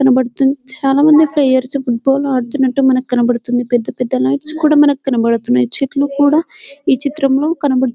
కనబడుతు-- చాలా మంది ప్లేయర్స్ ఫ్యూట్బాల్ ఆడుతున్నట్టుగా మనకు కనిపిస్తుంది పెద్ద పెద్ద లైట్స్ కూడా మనకు కనబడుతుంది చెట్లు కూడా ఈ చిత్రంలో కనబడు --.